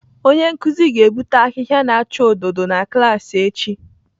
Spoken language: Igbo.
Onye nkuzi ga-ebute ahịhịa na-acha odo odo na klaasị echi